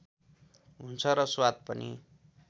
हुन्छ र स्वाद पनि